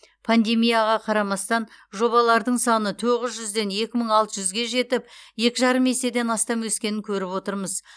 пандемияға қарамастан жобалардың саны тоғыз жүзден екі мың алты жүзге жетіп екі жарым еседен астам өскенін көріп отырмыз